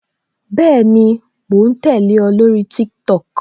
Bẹẹni, mo ń tẹle o, lórí TikTok